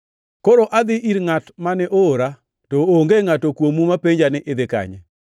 “Koro adhi ir Ngʼat mane oora, to onge ngʼato kuomu mapenja ni, ‘Idhi kanye?’